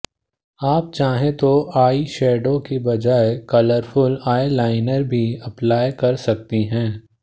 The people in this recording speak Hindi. आप चाहें तो आईशैडो की बजाय कलरफुल आईलाइनर भी अप्लाई कर सकती हैं